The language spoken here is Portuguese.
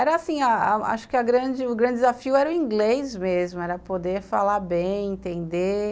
Era assim, acho que a grande o grande desafio era o inglês mesmo, era poder falar bem, entender.